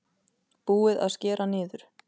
Búið að skera niður